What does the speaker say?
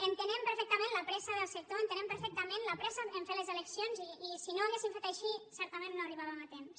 entenem perfectament la pressa del sec·tor entenem perfectament la pressa a fer les eleccions i si no ho haguéssim fet així certament no hi arribà·vem a temps